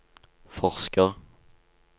forsker